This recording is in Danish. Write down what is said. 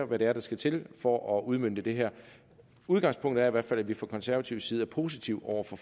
hvad det er der skal til for at udmønte det her udgangspunktet er i hvert fald at vi fra konservativ side er positive over for